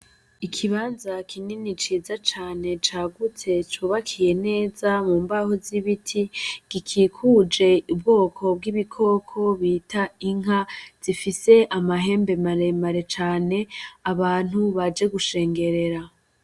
Ikibanza kinini ciza cane cagutse cubakiye neza mu mbaho z'ibiti gikikuje ubwoko bw’ibikoko bita inka zifise amahembe maremare cane. Abantu baje gushengerera.